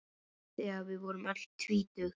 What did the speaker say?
Þegar við vorum öll tvítug.